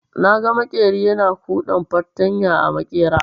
Naga maƙeri yana kuɗan fartanya a maƙera.